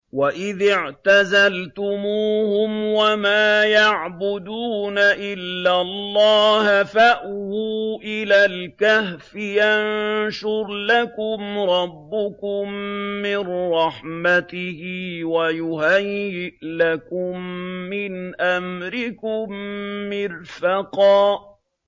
وَإِذِ اعْتَزَلْتُمُوهُمْ وَمَا يَعْبُدُونَ إِلَّا اللَّهَ فَأْوُوا إِلَى الْكَهْفِ يَنشُرْ لَكُمْ رَبُّكُم مِّن رَّحْمَتِهِ وَيُهَيِّئْ لَكُم مِّنْ أَمْرِكُم مِّرْفَقًا